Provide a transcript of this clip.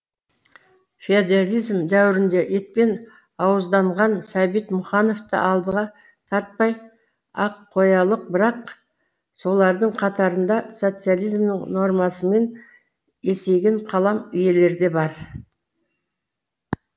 феодализм дәуірінде етпен ауызданған сәбит мұқановты алдыға тарпай ақ қоялық бірақ солардың қатарында социализмның нормасымен есейген қалам иелері де бар